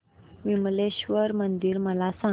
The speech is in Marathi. विमलेश्वर मंदिर मला सांग